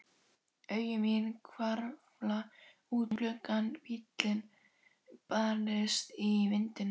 Augu mín hvarfla út um gluggann, bíllinn bærist í vindinum.